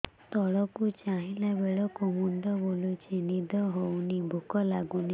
ତଳକୁ ଚାହିଁଲା ବେଳକୁ ମୁଣ୍ଡ ବୁଲୁଚି ନିଦ ହଉନି ଭୁକ ଲାଗୁନି